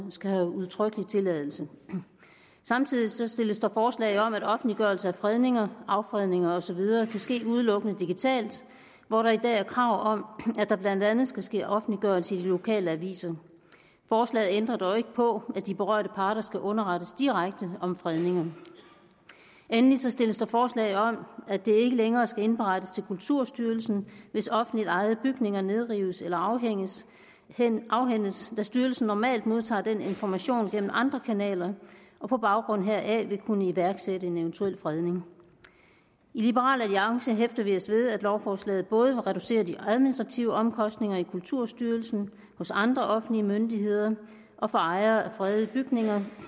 skal være udtrykkelig tilladelse samtidig stilles der forslag om at offentliggørelse af fredninger affredninger og så videre kan ske udelukkende digitalt hvor der i dag er krav om at der blandt andet skal ske offentliggørelse i de lokale aviser forslaget ændrer dog ikke på at de berørte parter skal underrettes direkte om fredninger endelig stilles der forslag om at det ikke længere skal indberettes til kulturstyrelsen hvis offentligt ejede bygninger nedrives eller afhændes afhændes da styrelsen normalt modtager den information gennem andre kanaler og på baggrund heraf vil kunne iværksætte en eventuel fredning i liberal alliance hæfter vi os ved at lovforslaget både reducerer de administrative omkostninger i kulturstyrelsen hos andre offentlige myndigheder og for ejere af fredede bygninger